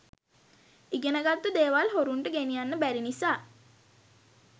ඉගෙන ගත්තු දේවල් හොරුන්ට ගෙනියන්න බැරි නිසා